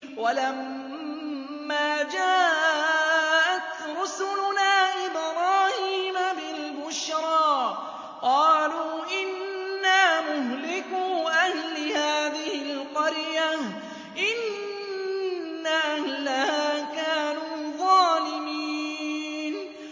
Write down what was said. وَلَمَّا جَاءَتْ رُسُلُنَا إِبْرَاهِيمَ بِالْبُشْرَىٰ قَالُوا إِنَّا مُهْلِكُو أَهْلِ هَٰذِهِ الْقَرْيَةِ ۖ إِنَّ أَهْلَهَا كَانُوا ظَالِمِينَ